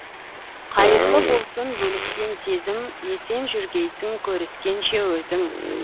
қайырлы болсын бөліскен сезім есен жүргейсің көріскенше өзің